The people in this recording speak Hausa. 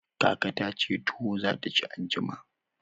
Kaka ta ce tuwo za ta ci anjima.